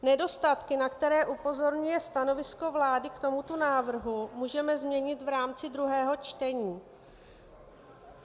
Nedostatky, na které upozorňuje stanovisko vlády k tomuto návrhu, můžeme změnit v rámci druhého čtení.